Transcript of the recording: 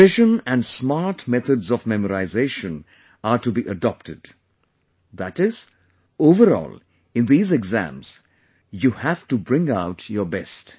Revision and smart methods of memorization are to be adopted, that is, overall, in these exams, you have to bring out your best